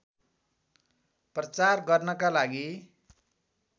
प्रचार गर्नका लागि